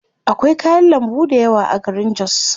Akwai kayan lambu dayawa a garin jos.